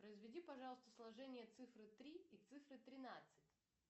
произведи пожалуйста сложение цифры три и цифры тринадцать